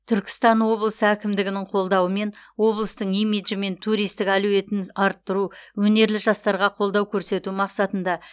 түркістан облысы әкімдігінің қолдауымен облыстың имиджі мен туристік әлеуетін арттыру өнерлі жастарға қолдау көрсету мақсатында